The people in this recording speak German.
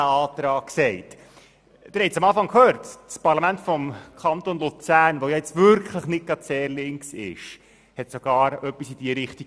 Sogar das nun wirklich nicht sehr linke Parlament des Kantons Luzern hat etwas beschlossen, das in dieselbe Richtung geht wie dieser Antrag.